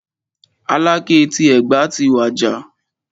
Aláké ti Ẹ̀gbá ti wàjà.